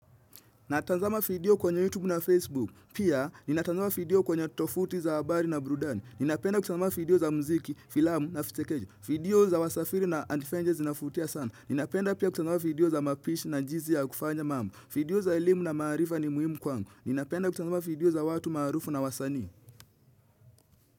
Natazama video kwenye YouTube na Facebook. Pia, ninatazama video kwenye tovuti za habari na burudani. Ninapenda kutanzama video za muziki, filamu na fitekeju. Video za wasafiri na antifengen zinavutia sana. Ninapenda pia kutanzama video za mapishi na jinsi ya kufanya mambo. Video za elimu na maarifa ni muhimu kwangu. Ninapenda kutanzama video za watu marufu na wasani.